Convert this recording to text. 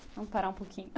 Vamos parar um pouquinho.